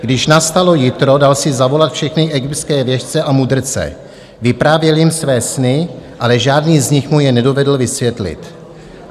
Když nastalo jitro, dal si zavolat všechny egyptské věštce a mudrce, vyprávěl jim své sny, ale žádný z nich mu je nedovedl vysvětlit.